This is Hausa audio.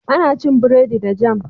Ana cin burodi da jam.